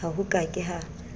ha ho ka ke ha